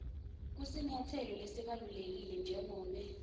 kusinyatselo lesibalulekile njengobe